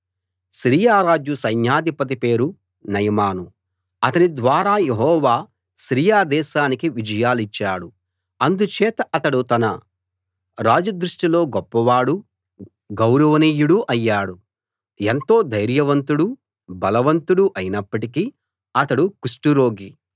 Syria రాజు సైన్యాధిపతి పేరు నయమాను అతని ద్వారా యెహోవా సిరియా దేశానికి విజయాలిచ్చాడు అందుచేత అతడు తన రాజు దృష్టిలో గొప్పవాడూ గౌరవనీయుడూ అయ్యాడు ఎంతో ధైర్యవంతుడూ బలవంతుడూ అయినప్పటికీ అతడు కుష్టు రోగి